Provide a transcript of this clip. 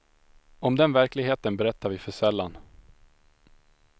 Om den verkligheten berättar vi för sällan.